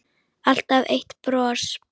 Alltaf eitt bros.